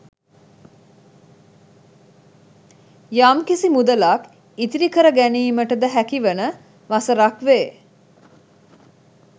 යම් කිසි මුදලක් ඉතිරි කර ගැනීමට ද හැකි වන වසරක් වේ.